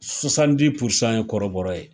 ye kɔrɔbɔrɔ ye.